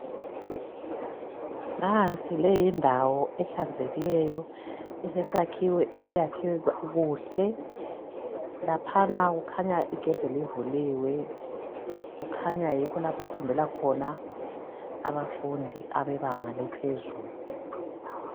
Nansi le yindawo ehlanzekileyo elesakhiwo esakhiwe kuhle laphana kukhanya igedi livuliwe kukhanya yikho lapha okufundela khona abafundi abebanga eliphezulu.